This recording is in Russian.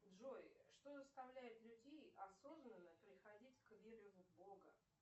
джой что заставляет людей осознанно приходить к вере в бога